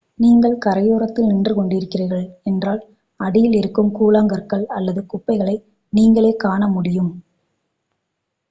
நீங்கள் கரையோரத்தில் நின்று கொண்டிருக்கிறீர்கள் என்றால் அடியில் இருக்கும் கூழாங்கற்கள் அல்லது குப்பைகளை நீங்களே காணமுடியும்